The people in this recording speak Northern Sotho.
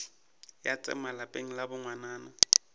ya tsema lapeng la bongwanana